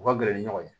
U ka gɛrɛ ni ɲɔgɔn ye